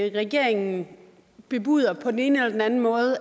at regeringen bebuder at der på den ene eller den anden måde